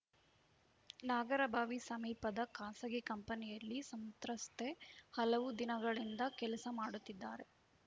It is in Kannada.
ನಾಗರಬಾವಿ ಸಮೀಪದ ಖಾಸಗಿ ಕಂಪನಿಯಲ್ಲಿ ಸಂತ್ರಸ್ತೆ ಹಲವು ದಿನಗಳಿಂದ ಕೆಲಸ ಮಾಡುತ್ತಿದ್ದಾರೆ